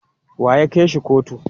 Wa ya kai shi kotu?